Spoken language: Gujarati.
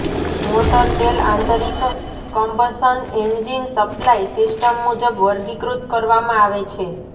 મોટર તેલ આંતરિક કમ્બશન એન્જિન સપ્લાય સિસ્ટમ મુજબ વર્ગીકૃત કરવામાં આવે છે